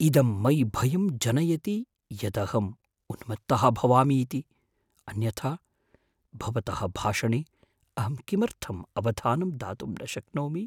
इदं मयि भयं जनयति यदहम् उन्मत्तः भवामि इति, अन्यथा, भवतः भाषणे अहं किमर्थम् अवधानं दातुं न शक्नोमि?